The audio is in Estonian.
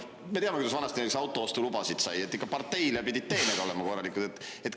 Me teame, kuidas vanasti näiteks autoostulubasid sai: ikka pidid parteile korralikud teened olema.